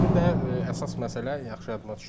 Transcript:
Bir də əsas məsələ yaxşı yadıma düşdü.